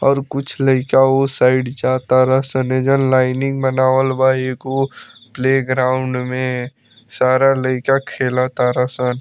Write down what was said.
और कुछ लईका उ साइड जातारा सन एजा लाईनिंग बनावल बा एगो प्लेग्राउंड में सारा लईका खेलतारन सन।